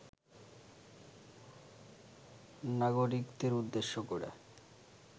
নাগরিকদের উদ্দেশ্য করে